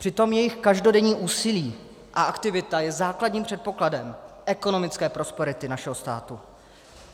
Přitom jejich každodenní úsilí a aktivita je základním předpokladem ekonomické prosperity našeho státu.